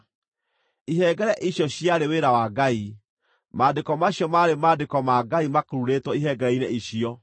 Ihengere icio ciarĩ wĩra wa Ngai; maandĩko macio maarĩ maandĩko ma Ngai makururĩtwo ihengere-inĩ icio.